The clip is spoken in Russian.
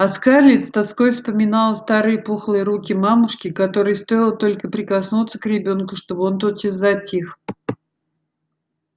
а скарлетт с тоской вспоминала старые пухлые руки мамушки которой стоило только прикоснуться к ребёнку чтобы он тотчас затих